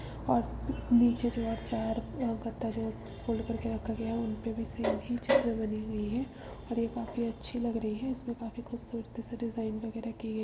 और नीचे जो है चार अ गद्दा जो है फ़ोल्ड करके रखा गया है। उनपे भी बनी हुई हैं और ये काफी अच्छी लग रही है। इसमें काफी खूबसूरती से डिज़ाइन वगेरा कि --